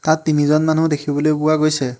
ইয়াত তিনিজন মানুহ দেখিবলৈ পোৱা গৈছে।